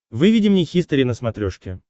выведи мне хистори на смотрешке